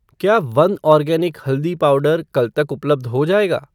क्या वनआर्गेनिक हल्दी पाउडर कल तक उपलब्ध हो जाएगा?